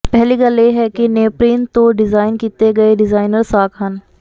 ਪਹਿਲੀ ਗੱਲ ਇਹ ਹੈ ਕਿ ਨੀਯਪ੍ਰੀਨ ਤੋਂ ਡਿਜਾਈਨ ਕੀਤੇ ਗਏ ਡਿਜ਼ਾਇਨਰ ਸਾਕ ਹਨ